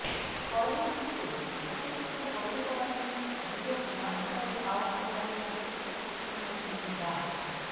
corona ইস্যুতে শিক্ষাপ্রতিষ্ঠান বন্ধ করা নিয়ে গুজব না ছড়ানোর আহ্বান জানিয়েছেন শিক্ষামন্ত্রী ডা